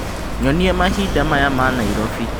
Nyonia mahinda maya ma Nairobi